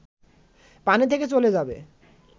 পানি থেকে চলে যাবে